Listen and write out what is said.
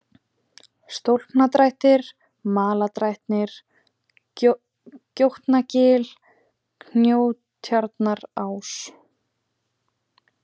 Stólpadrættir, Malardrættir, Gjótnagil, Kjóatjarnarás